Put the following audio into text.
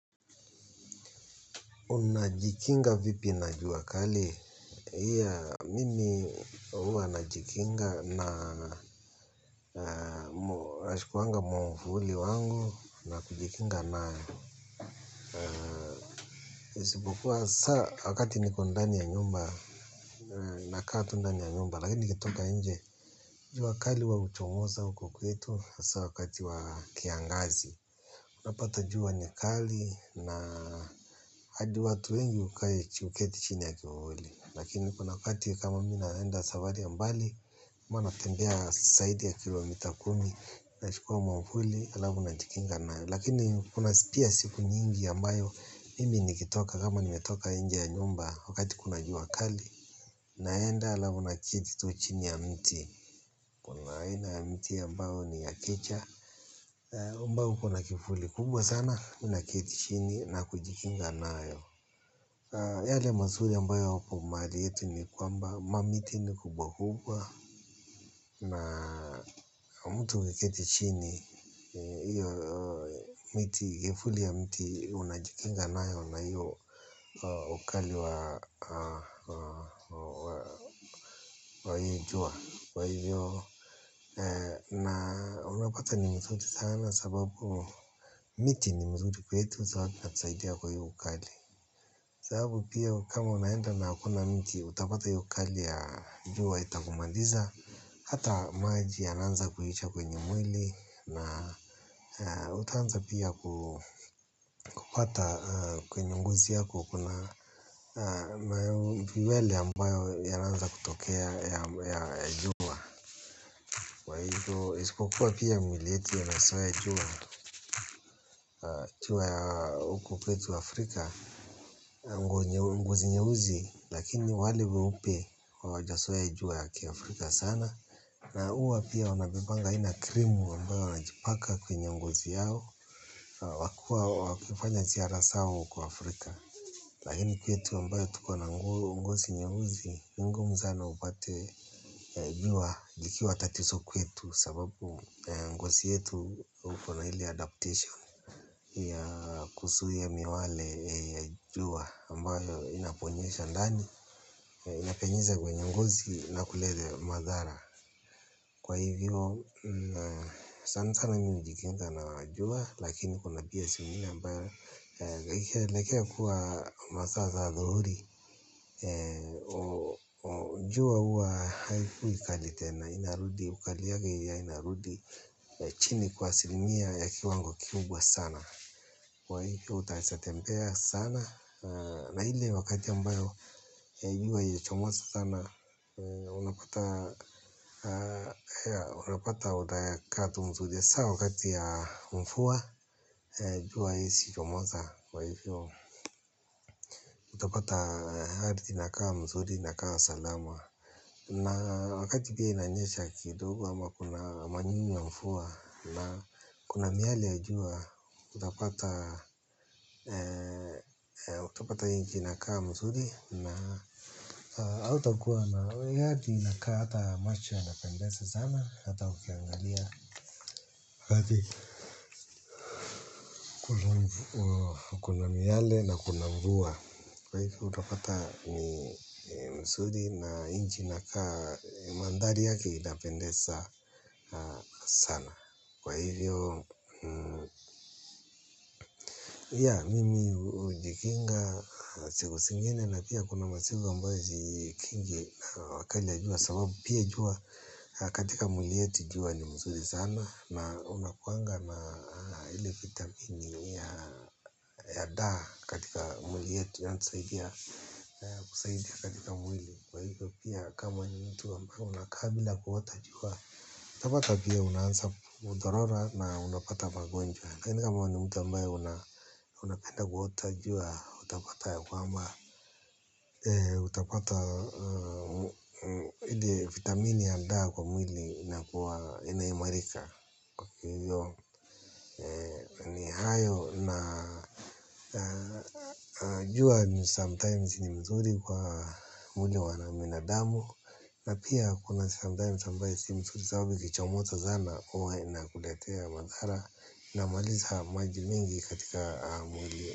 Unajikinga vipi na jua kali? Mimi hwa najikinga na nachukuaga mwavuli wangu najikinga nayo. Isipokua saa wakati niko ndani ya nyumba. Nakaa tu ndani ya nyumba lakini nikitoka nje. Jua kali huwa uchomoza huku kwetu hasa wakati wa kiangazi. Unapata jua ni kali na hadi watu wengi huketi chini ya kivuli. Lakini kuna wakati kama mimi naenda safari ya mbali. Huwa natembea zaidi ya kilomita kumi. Nachukuwa mwavuli halafu najikinga. Lakini kuna pia siku nyingi ambayo. Mimi nikitoka kama nimetoka nje ya nyumba. Wakati kuna jua kali. Naenda halafu naketi tu chini ya mti. Kuna aina ya mti ya ambao ni ya kicha. Ambao uko na kivuli kubwa sana. Mimi naketi chini na kujikinga nayo. Yale mazuri ambayo hapo mahali yetu ni kwamba, ma miti ni kubwa hubwa. Na mtu huketi chini, hiyo miti, kivuli ya mti, unajikinga nayo na hiyo ukali wa hiyo jua. Kwa hivyo, na unapata ni mzuri sana sababu miti ni mzuri kwetu, sababu inatusaidia kwa hiyo ukali. Sababu pia kama unaenda na hakuna mti utapata hiyo ukali ya jua itakumaliza. Hata maji yanaanza kuisha kwenye mwili na utaanza pia kupata kwenye ngozi yako. Kuna ma nywele ambayo imeanza kutokea ya jua. Kwa hivyo ispokuwa pia miili yetu inazoea jua ya huku kwetu Afrika. Ngozi nyeusi. Lakini wale weupe hawajazoea jua ya kiafrika sana. Na huwa pia wanabebanga ile krimu ambayo wanajipaka kwenye ngozi yao. Wakifanya ziara zao huko Afrika lakini kwetu ambayo tuko na ngozi nyeusi ni ngumu sana upate jua ikiwa tatizo kwetu. Sababu ngozi yetu uko na ile adaptation ya kuzuia miyale ya ambayo inaponyesha ndani inapenyeza kwenye ngozi na kuleta madhara kwa hivyo sana sana mimi hujikinga na jua lakini kuna pia zingine ambayo ikielekea kuwa masaa za adhuhuri jua huwa haikui kali tena inarudi ukali yake inarudi chini kwa asilimia ya kiwango kikubwa sana kwa hivyo utaweza tembea sana na ile wakati ambayo jua ilichomoza sana, unapata, unapata muda ya kukaa tu mzuri, saa wakati ya mvua, jua haiwezi chomoza kwa hivyo. Utapata hadi nakaa mzuri, nakaa salama. Na wakati pia inanyesha kidogo, ama kuna manyunyu ya mvua, na kuna miyale ya jua, unapata utapata hiki ina kaa mzuri. Na hautakuwa na, hadi inaka hata macho yanapendeza sana. Hata ukiangalia hadi kuna miyale na kuna mvua. Kwa hivyo utapata ni mzuri na nchi inakaa mandhari yake inapendeza sana kwa hivyo ya mimi hujikinga siku zingine. Na pia kuna masiku ambazo sijikingi kwa makali ya jua. Sababu pia jua katika mwili yetu jua ni mzuri sana. Na unakuanga na ile vitamini ya daa katika mwili yetu yanatusaidia katika mwili. Kwa hivyo pia kama ni mtu ambaye unakaa bila kuota jua utapata pia unaanza kudhorora na unapata magonjwa laKini kama we ni mtu ambaye unapenda kuota jua utapata ya kwamba ile vitamini ya daa kwa mwili ina kuwa ina imarika. Ni hayo na jua ni sometimes ni mzuri kwa mwili wa binadamu. Na pia kuna sometimes ambayo si mzuri sababu ikichomoza sana huwa inakuletea madhara inmaliza maji mengi katika mwili.